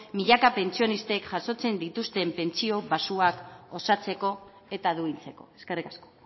milaka pentsionisten jasotzen dituzten pentsio baxuak osatzeko eta duintzeko eskerrik asko